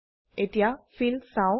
এতিয়া Fillচাও